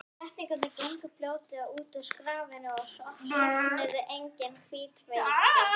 Seltirningar gengu fljótlega úr skaftinu og stofnuðu eigin hitaveitu.